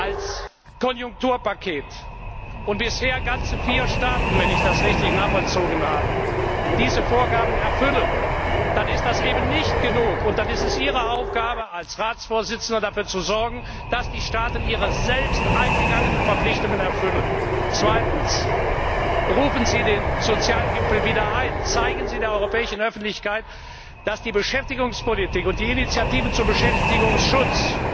als Konjunkturpaket zu mobilisieren, und bisher ganze vier Staaten wenn ich das richtig nachvollzogen habe diese Vorgaben erfüllen, dann ist das nicht genug, und es ist Ihre Aufgabe als Ratsvorsitzender, dafür zu sorgen, dass die Staaten ihre selbst eingegangenen Verpflichtungen erfüllen. Zweitens, berufen Sie den Sozialgipfel wieder ein! Zeigen Sie der europäischen Öffentlichkeit, dass die Beschäftigungspolitik und die Initiativen zum Beschäftigungsschutz